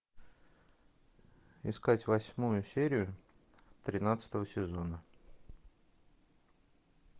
искать восьмую серию тринадцатого сезона